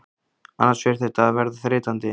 Annars fer þetta að verða þreytandi.